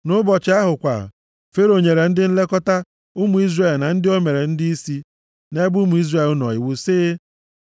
Nʼụbọchị ahụ kwa, Fero nyere ndị nlekọta + 5:6 Ndị nlekọta ndị ohu na-arụ ọrụ bụ ndị Ijipt, ma ndịisi ndị ọrụ ahụ, bụ ndị Izrel. ụmụ Izrel na ndị o mere ndịisi nʼebe ụmụ Izrel nọ iwu sị,